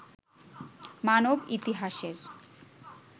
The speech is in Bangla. মানব ইতিহাসের